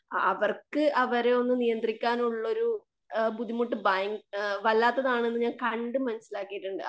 അവർക്ക് അവരെയൊന്ന് നിയന്ത്രിക്കാനുള്ളൊരു ബുദ്‌ധിമുട്ടു ആ ഭയ വല്ലാത്തതാണെന്ന് ഞാൻ കണ്ട് മനസിലാക്കിയിട്ടുണ്ട്.